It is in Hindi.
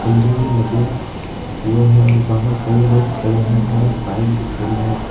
खंबे भी लगे हुए है और बाहर कई लोग खड़े है और एक बाइक भी खड़ी है।